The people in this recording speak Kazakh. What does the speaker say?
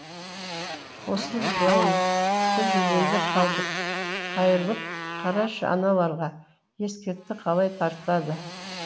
қосылып жылаймыз біз өзенде қалдық қайырлып қарашы аналарға ескекті қалай тартады